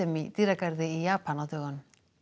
í dýragarði í Japan á dögunum